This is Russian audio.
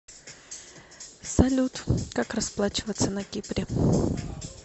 салют как расплачиваться на кипре